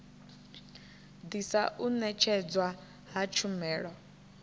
ḓisa u ṅetshedzwa ha tshumelo